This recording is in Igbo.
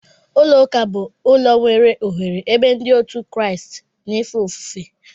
Ụlọ ụka bu ụlọ nwere oghere ebe ndi otu kraist na efe ofufe.